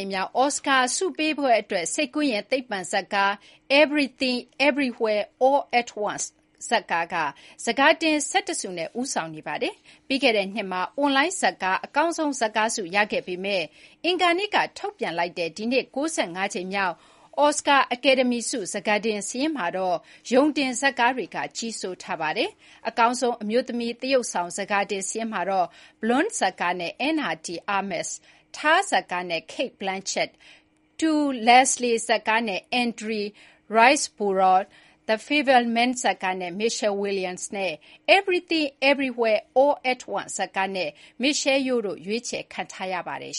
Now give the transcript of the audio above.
မ်မြောက် အော်စကာဆုပေးပွဲအတွက် စိတ်ကူးယဉ် သိပ္ပံဇာတ်ကား “Everything Everywhere All at Once” က ဆန်ခါတင် ၁၁ ဆုနဲ့ ဦးဆောင်နေပါတယ်။ ပြီးခဲ့တဲ့နှစ်မှာ အွန်လိုင်းဇာတ်ကား အကောင်းဆုံးဇာတ်ကားဆုရခဲ့ပေမဲ့ အင်္ဂါနေ့က ထုတ်ပြန်လိုက်တဲ့ ဒီနှစ် ၉၅ ကြိမ်မြောက် အော်စကာ အကယ်ဒမီဆု ဆန်ခါတင်စာရင်းမှာတော့ ရုံတင်ဇာတ်ကားတွေက ကြီးစိုးထားပါတယ်။ အကောင်းဆုံး အမျိုးသမီးသရုပ်ဆောင် ဆန်ခါတင်စာရင်းမှာတော့ Blonde ဇာတ်ကားနဲ့ Ana de Armas ၊ "Tár ဇာတ်ကားနဲ့ Cate Blanchett ၊ To Leslie ဇာတ်ကားနဲ့ Andrea Riseborough ၊ The Fabelmans ဇာတ်ကားနဲ့ Michelle Williams နဲ့ Everything Everywhere All at Once ဇာတ်ကားနဲ့ Michelle Yeoh တို့ ရွေးချယ်ခံရပါတယ်